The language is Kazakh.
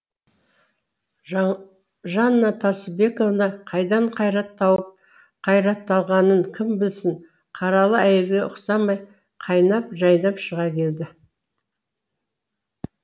жанна тасыбековна қайдан қайрат тауып қайратталғанын кім білсін қаралы әйелге ұқсамай қайнап жайнап шыға келді